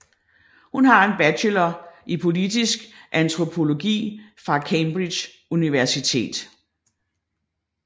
Hun har en bachelor i politisk antropologi fra Cambridge Universitet